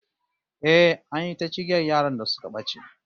Eh, an yi ta cigiyar yaran da suka bace